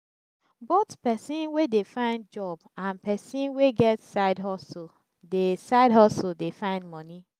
both persin we de find job and person wey get side hustle de side hustle de find moni